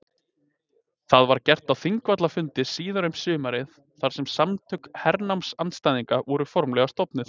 Það var gert á Þingvallafundi síðar um sumarið þar sem Samtök hernámsandstæðinga voru formlega stofnuð.